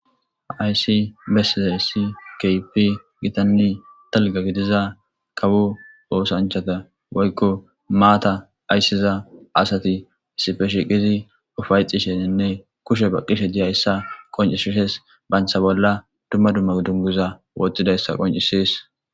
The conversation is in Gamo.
Hayssi bessizayssi keehippe gitanne dalgga gidiza kawo oosanchchata woykkoa maata aysiza asati issippe shiiqizi ufayxxishinne kushshe baqishe dizayssa qonccisidees. Bantta bolla dumma dumma dungguza wotidayssa qonccisees.